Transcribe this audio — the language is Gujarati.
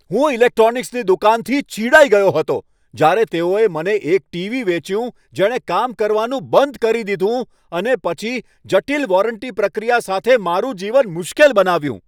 હું ઇલેક્ટ્રોનિક્સની દુકાનથી ચિડાઈ ગયો હતો જ્યારે તેઓએ મને એક ટીવી વેચ્યું જેણે કામ કરવાનું બંધ કરી દીધું અને પછી જટિલ વોરંટી પ્રક્રિયા સાથે મારું જીવન મુશ્કેલ બનાવ્યું.